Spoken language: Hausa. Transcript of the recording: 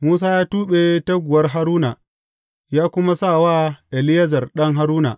Musa ya tuɓe taguwar Haruna, ya kuma sa wa Eleyazar ɗan Haruna.